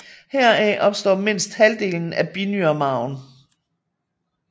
Heraf opstår mindst halvdelen i binyremarven